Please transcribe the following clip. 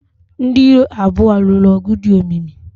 Ndị iro abụọ ha lụrụ ọgụ dị omimi.